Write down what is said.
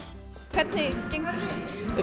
hvernig gengur